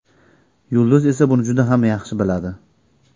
Yulduz esa buni juda ham yaxshi biladi.